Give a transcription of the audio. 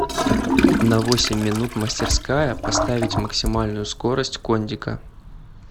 на восемь минут мастерская поставить максимальную скорость кондика